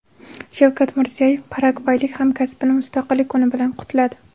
Shavkat Mirziyoyev paragvaylik hamkasbini mustaqillik kuni bilan qutladi.